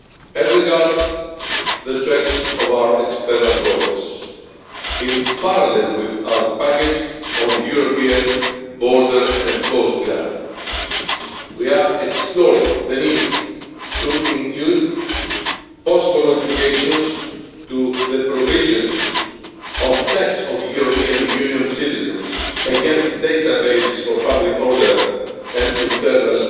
As regards the checks at our external borders, in parallel with our package on European border and coast guards, we are exploring the need to include possible modifications to the provisions of checks of European Union citizens against databases for public order and internal